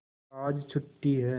आज छुट्टी है